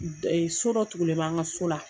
N de So dɔ tugulen b'an ka so la